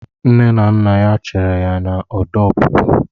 Nne na nna ya chere ya na ọdụ ọpụpụ.